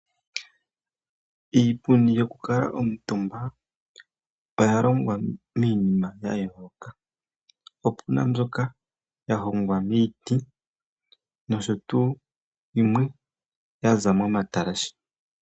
Iipundi yokukala omutumba oya longwa miinima yayooloka, opu na mbyoka ya hongwa miiti nosho tuu yimwe ya za momatalashe.